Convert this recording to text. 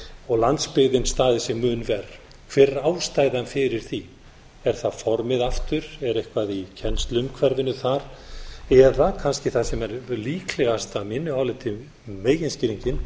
og landsbyggðin staðið sig mun verr hver er ástæðan fyrir því er það formið aftur er eitthvað í kennsluumhverfinu þar eða kannski það sem er líklegast að mínu áliti meginskýringin